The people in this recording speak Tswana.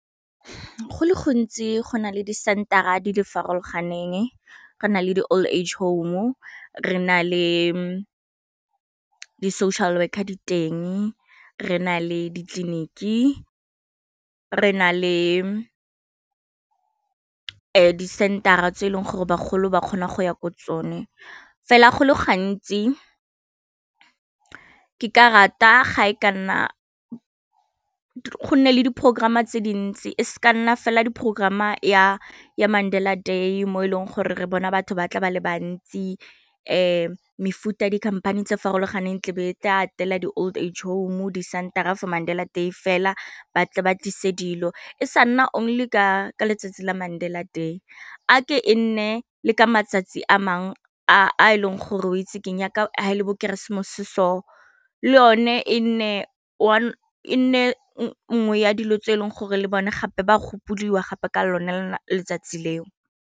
Go le gontsi go nale di center-a di le farologaneng re na le di old age home o re na le di social worker diteng re na le ditleliniki re na le di center-a tse e leng gore bagolo ba kgona go ya ko tsone fela go le gantsi ke ka rata ga e ka nna go nne le diporokorama tse dintsi e se ka nna fela di programm ya Mandela Day mo e leng gore re bona batho ba tla ba le bantsi mefuta dikhamphane tse farologaneng tlebe e tle atela di old age home o di center-a for Mandela Day fela ba tle ba tlise dilo e sa only ka letsatsi la Mandela Day a ke e nne le ka matsatsi a mangwe a e leng gore o itse keng yaka le bo keresemose so le yone e nne e nne nngwe ya dilo tse e leng gore le bone gape ba gopodiwa gape ka lone letsatsi leo.